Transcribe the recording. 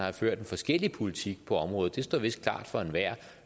har ført en forskellig politik på området står vist klart for enhver og